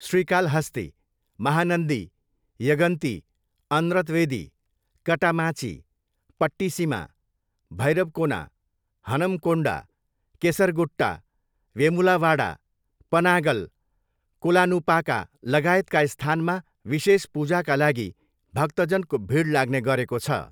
श्रीकालहस्ती, महानन्दी, यगन्ती, अन्र्तवेदी, कटामाँची, पट्टिसिमा, भैरवकोना, हनमकोन्डा, केसरगुट्टा, वेमुलावाडा, पनागल, कोलानुपाका लगायतका स्थानमा विशेष पूजाका लागि भक्तजनको भिड लाग्ने गरेको छ।